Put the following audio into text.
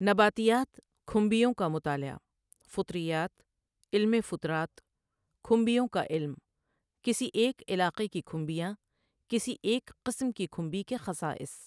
نباتیات کھمبیوں کا مطالعہ، فُطریات، علمِ فُطرات، کھمبیوں کا علم، کسی ایک علاقے کی کھمبیاں، کسی ایک قسم کی کھمبی کے خصائص۔